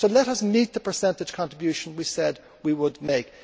So let us meet the percentage contribution we said we would make.